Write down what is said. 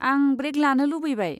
आं ब्रेक लानो लुबैबाय।